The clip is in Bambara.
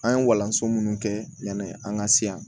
An ye walanso minnu kɛ yanni an ka se yan